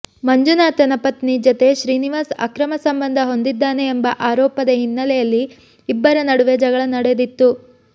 ಮಂಜುನಾಥನ ಪತ್ನಿ ಜತೆ ಶ್ರೀನಿವಾಸ್ ಅಕ್ರಮ ಸಂಬಂಧ ಹೊಂದಿದ್ದಾನೆ ಎಂಬ ಆರೋಪದ ಹಿನ್ನೆಲೆಯಲ್ಲಿ ಇಬ್ಬರ ನಡುವೆ ಜಗಳ ನಡೆದಿತ್ತು